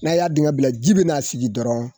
Na y'a dingɛ bila ji bɛna sigi dɔrɔn